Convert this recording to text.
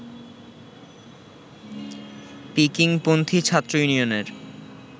পিকিংপন্থী ছাত্র ইউনিয়নের